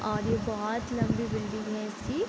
और ये बहोत लम्बी बिल्डिंग है इसकी।